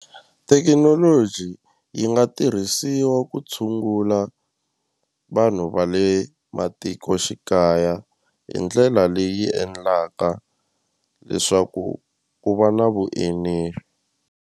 Thekinoloji yi nga tirhisiwa ku tshungula vanhu va le matikoxikaya hi ndlela leyi endlaka leswaku ku va na .